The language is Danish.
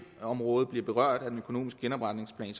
område bliver berørt af den økonomiske genopretningsplan